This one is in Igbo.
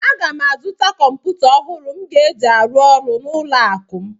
M ga-azụta kọmpụta ọhụrụ m ga-eji arụ ọrụ n'ụlọ akụ m